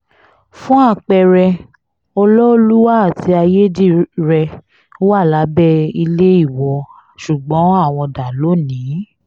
fún apẹ̀rẹ̀ ọlọ́ọ́lùwà àti ayédírẹ́ wa lábẹ́ ilé ìwọ ṣùgbọ́n àwọn dá lónì-ín